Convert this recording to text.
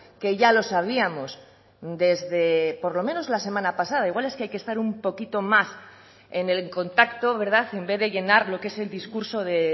que ya lo sabíamos desde por lo menos la semana pasada igual es que hay que estar un poquito más en el contacto en vez de llenar lo que es el discurso de